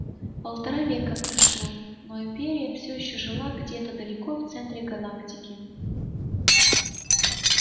полтора века прошло но империя всё ещё жила где-то далеко в центре галактики